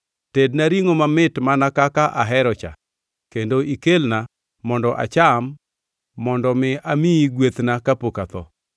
Tedna ringʼo mamit mana kaka ahero cha kendo ikelna mondo acham mondo mi amiyi gwethna kapok atho.”